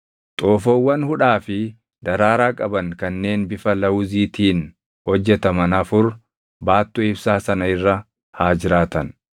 Xoofoowwan hudhaa fi daraaraa qaban kanneen bifa lawuziitiin hojjetaman afur baattuu ibsaa sana irra haa jiraatan.